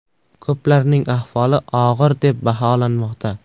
Ko‘plarning ahvoli og‘ir deb baholanmoqda.